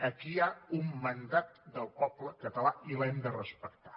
aquí hi ha un mandat del poble català i l’hem de respectar